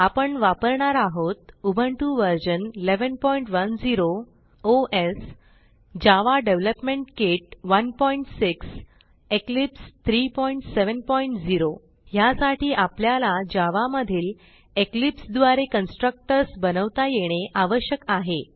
आपण वापरणार आहोत Ubuntu version 1110 OS Java development kit 16 Eclipse 370 ह्यासाठी आपल्याला जावा मधील इक्लिप्स द्वारे कन्स्ट्रक्टर्स बनवता येणे आवश्यक आहे